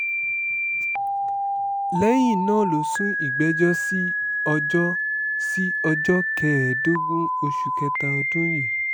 lẹ́yìn náà ló sún ìgbẹ́jọ́ sí ọjọ́ sí ọjọ́ kẹẹ̀ẹ́dógún oṣù kẹta ọdún yìí